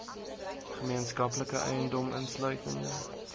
gemeenskaplike eiendom insluitende